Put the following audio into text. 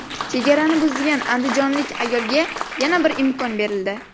Chegarani buzgan andijonlik ayolga yana bir imkon berildi.